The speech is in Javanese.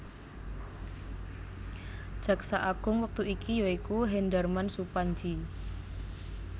Jaksa Agung wektu iki ya iku Hendarman Supandji